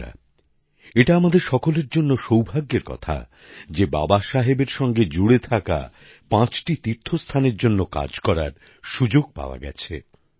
বন্ধুরা এটা আমাদের সকলের জন্য সৌভাগ্যের কথা যে বাবা সাহেবের সঙ্গে জুড়ে থাকা পাঁচটি তীর্থস্থানের জন্য কাজ করার সুযোগ পাওয়া গেছে